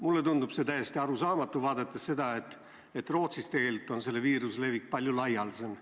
Mulle tundub see täiesti arusaamatu, arvestades seda, et Rootsis on viiruse levik palju laialdasem.